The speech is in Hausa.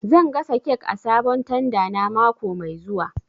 Zan gasa kek a sabon tanda na mako mai zuwa